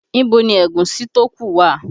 Ibo ni ẹ̀gúsí tó ku wà?